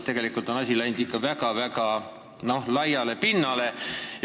Tegelikult on asi läinud ikka väga-väga laiale pinnale.